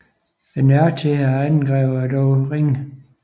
Nøjagtigheden af angrebene er dog ringe